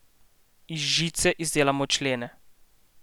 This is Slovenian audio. Iz žice izdelamo člene.